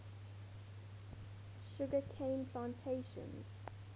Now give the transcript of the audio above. sugar cane plantations